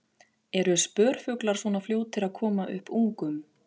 Eru spörfuglar svona fljótir að koma upp ungum?